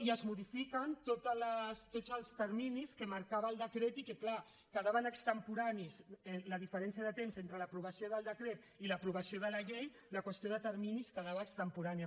i es modifiquen tots els terminis que marcava el decret i que clar quedaven extemporanis la diferència de temps entre l’aprovació del decret i l’aprovació de la llei la qüestió de terminis quedava extemporània